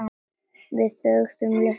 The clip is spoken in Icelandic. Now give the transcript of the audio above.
Við þögðum litla stund.